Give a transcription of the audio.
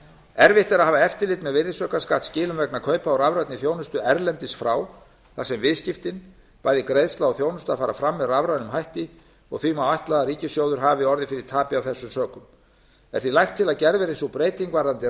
erfitt er að hafa eftirlit með virðisaukaskattsskilum vegna kaupa á rafrænni þjónustu erlendis frá þar sem viðskiptin bæði greiðsla og þjónusta fara fram með rafrænum hætti og því má ætla að ríkissjóður hafi orðið fyrir tapi af þessum sökum er því lagt til að gerð verði sú breyting um